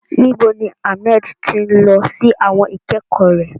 Níbo ni Ahmed ti ń lọ sí àwọn ìkẹ́kọ̀ọ́ rẹ̀?